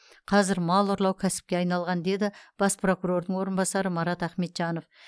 қазір мал ұрлау кәсіпке айналған деді бас прокурордың орынбасары марат ахметжанов